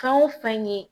Fɛn o fɛn ye